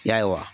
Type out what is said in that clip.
Ya